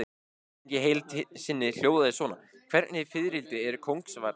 Spurningin í heild sinni hljóðaði svona: Hvernig fiðrildi er kóngasvarmi?